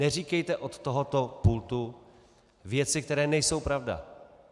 Neříkejte od tohoto pultu věci, které nejsou pravda.